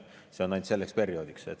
See on ainult selleks perioodiks.